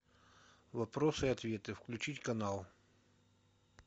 вопросы и ответы включить канал